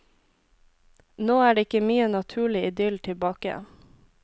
Nå er det ikke mye naturlig idyll tilbake.